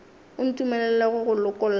o ntumelele go go lokolla